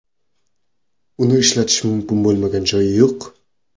Uni ishlatish mumkin bo‘lmagan joy yo‘q.